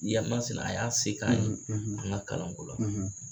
a y'a se k'an ye an ka kalanko la.